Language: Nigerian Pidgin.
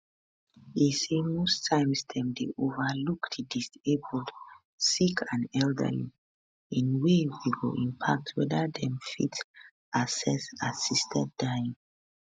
e say most times dem dey overlook di disabled sick and elderly in way we go impact weda dem fit access assisted dying